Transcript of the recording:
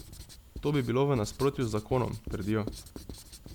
To bi bilo v nasprotju z zakonom, trdijo.